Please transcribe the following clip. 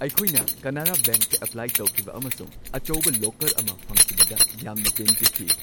ꯑꯩꯈꯣꯏꯅ ꯀꯅꯥꯔꯥ ꯕꯦꯡꯛꯇ ꯑꯦꯄ꯭ꯂꯥꯏ ꯇꯧꯈꯤꯕ ꯑꯃꯁꯨꯡ ꯑꯆꯧꯕ ꯂꯣꯀꯔ ꯑꯃ ꯐꯪꯈꯤꯕꯗ ꯌꯥꯝꯅ ꯄꯦꯟꯖꯈꯤ ꯫